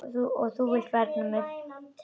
Og þú vilt vernda mig.